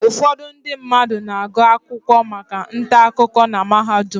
Ụfọdụ ndị mmadụ na-agụ akwụkwọ maka ntaakụko na mahadum.